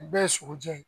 U bɛɛ ye sogo jɛ